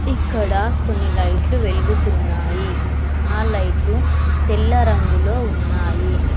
ఇక్కడ కొన్ని లైట్లు వెలుగుతున్నాయి ఆ లైట్లు తెల్ల రంగులో ఉన్నాయి.